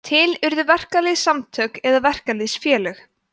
til urðu verkalýðssamtök eða verkalýðsfélög